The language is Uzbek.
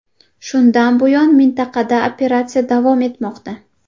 Shundan buyon mintaqada operatsiya davom etmoqda.